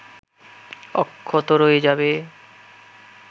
অক্ষত রয়ে যাবে